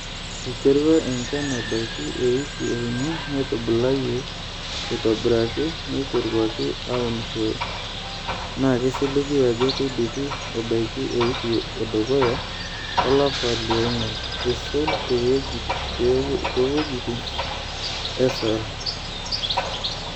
Eiterua enchan ebaiki e wiki e uni netubulayie aitobiraki, neiteruaki aunisho naa keisiligi aajo keidipi ebaiki ewiki e dukuya olapa le ong`uan, eisul too wuejitin e ASAL.